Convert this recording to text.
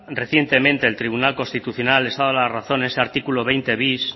recientemente el tribunal constitucional les ha dado la razón ese artículo veinte bis